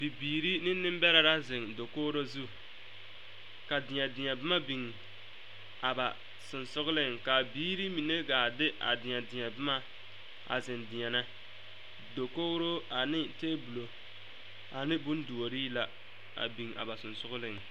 Bibiiri ne nembɛrɛ la zeŋ dakogro zu ka deɛ deɛ boma biŋ a ba sensogleŋ ka a biiri mine gaa de a deɛ deɛ boma a zeŋ deɛnɛ dakogro ane tabolo ane bonduorii la a biŋ a ba sensogleŋ.